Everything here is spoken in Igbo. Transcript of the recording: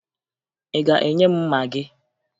Ị ga-enye m mma gị?